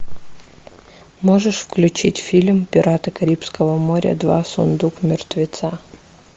можешь включить фильм пираты карибского моря два сундук мертвеца